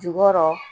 Jukɔrɔ